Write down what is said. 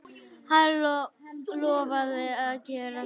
Hann lofaði að gera það.